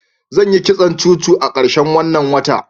zan Yi kitson cuku a karshen wanna wata.